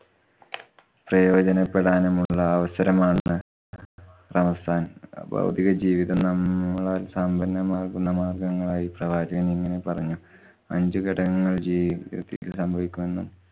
പ്രയോജനപ്പെടാനുമുള്ള അവസരമാണ് റംസാന്‍ ഭൌതിക ജീവിതം നമ്മളാല്‍ സമ്പന്നമാകുന്ന മാര്‍ഗ്ഗങ്ങളായി പ്രവാചകന്‍ ഇങ്ങനെ പറഞ്ഞു. അഞ്ചു ഘടകങ്ങള്‍ ജീവിതത്തില്‍ സംഭവിക്കുമെന്നും